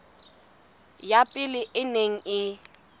ya pele e neng e